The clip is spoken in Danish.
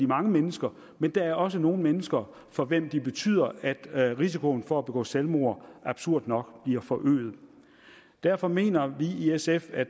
mange mennesker men der er også nogle mennesker for hvem de betyder at risikoen for at begå selvmord absurd nok bliver forøget derfor mener vi i sf at